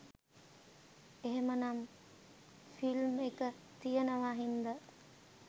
එහෙමනම් ‍ෆිල්ම් එක තියෙනවා හින්දා